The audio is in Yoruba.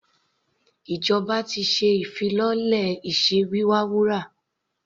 Ìjọba ti ṣe ìfilọ́lẹ̀ iṣẹ́ wíwa wúrà.